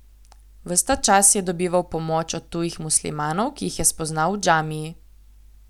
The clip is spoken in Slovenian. Ves ta čas je dobival pomoč od tujih muslimanov, ki jih je spoznal v džamiji.